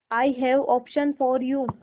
I have option for you